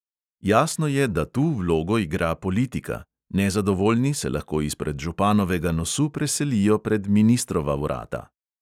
Jasno je, da tu vlogo igra politika: nezadovoljni se lahko izpred županovega nosu preselijo pred ministrova vrata.